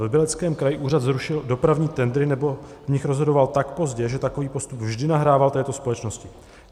V Libereckém kraji úřad zrušil dopravní tendry nebo v nich rozhodoval tak pozdě, že takovýto postup vždy nahrával této společnosti.